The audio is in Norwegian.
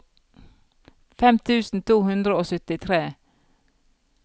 fem tusen to hundre og syttitre